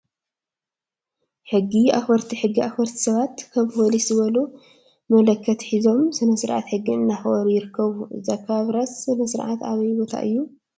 ሕጊ አክበርቲ ሕጊ አክበርቲ ሰባት ከም ፓሊሰ ዝበሉ መለከት ሒዞም ስነስርዓት ሕጊ እንዳአክበሩ ይርከቡ፡፡ እዚ አከባብራ ስነ ስርዓት አበይ ቦታ እዩ?